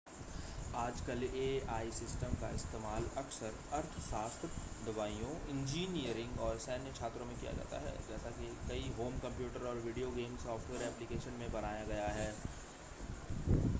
आजकल AI system का इस्तेमाल अक्सर अर्थशास्त्र दवाइयों इंजीनियरिंग और सैन्य क्षेत्रों में किया जाता है जैसा कि कई होम कंप्यूटर और वीडियो गेम सॉफ़्टवेयर ऐप्लिकेशन में बनाया गया है